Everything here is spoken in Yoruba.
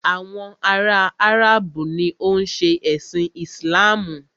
Àwọn ará Áràbù ni o ń ṣe ẹ̀sin Islamu.